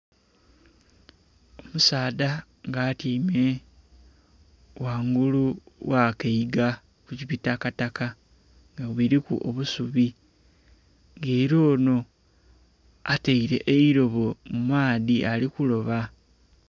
Omusadha nga atyaime ghangulu gh'akaiga ku bitakataka nga biliku obusubi nga era ono ataile eilobo mu maadhi ari kuloba.